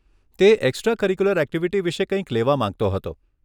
તે extra curricular activity માટે કંઇક લેવા માંગતો હતો.